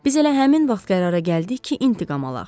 Biz elə həmin vaxt qərara gəldik ki, intiqam alaq.